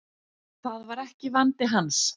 Það var ekki vandi hans.